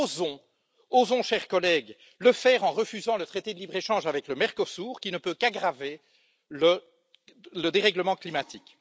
Osons, osons chers collègues, le faire en refusant le traité de libre échange avec le Mercosur, qui ne peut qu'aggraver le dérèglement climatique.